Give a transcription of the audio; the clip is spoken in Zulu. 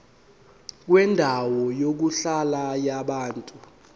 kwendawo yokuhlala yabantu